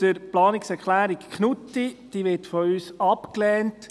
Zur Planungserklärung Knutti: Diese wird von uns abgelehnt.